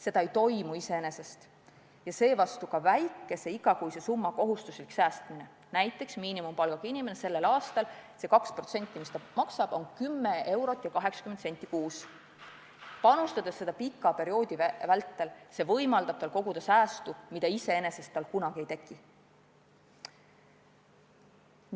Seda ei toimu iseenesest, seevastu ka väikese igakuise summa kohustuslik säästmine – näiteks miinimumpalgaga inimese puhul on see 2% palgast, mis ta maksab, 10 eurot ja 80 senti kuus –, kui see toimub pika perioodi vältel, siis on võimalik koguda säästu, mida iseenesest kunagi ei tekiks.